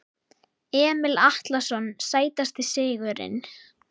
Emil Atlason Sætasti sigurinn?